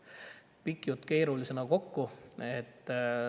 pika keerulise jutu kokku.